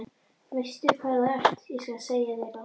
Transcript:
Veistu hvað þú ert, ég skal segja þér það.